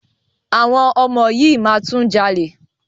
Àwọn ọmọ yìí máa tún jalè.